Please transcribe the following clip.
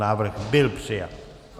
Návrh byl přijat.